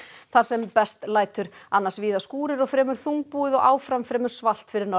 þar sem best lætur annars víða skúrir og fremur þungbúið og áfram fremur svalt fyrir norðan